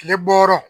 Tile bɔ yɔrɔ